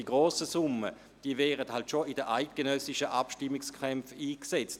– Die grossen Summen werden bei den eidgenössischen Abstimmungskämpfen eingesetzt.